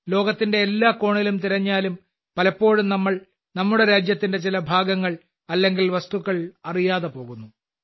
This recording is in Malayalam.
ലോകത്തിന്റെ എല്ലാ കോണിലും തിരഞ്ഞാലും പലപ്പോഴും നമ്മൾ നമ്മുടെ രാജ്യത്തിന്റെ ചില മികച്ച ഭാഗങ്ങൾ അല്ലെങ്കിൽ വസ്തുക്കൾ അറിയാതെ പോകുന്നു